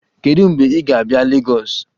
Kedu mgbe ị ga-abịa Lagos?